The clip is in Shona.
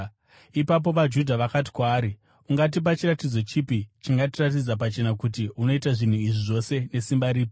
Ipapo vaJudha vakati kwaari, “Ungatipa chiratidzo chipi chingatiradza pachena kuti unoita zvinhu izvi zvose nesimba ripi?”